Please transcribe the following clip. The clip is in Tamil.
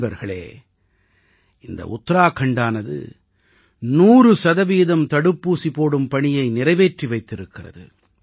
நண்பர்களே இந்த உத்தராகண்டானது 100 சதவீதம் தடுப்பூசி போடும் பணியை நிறைவேற்றி வைத்திருக்கிறது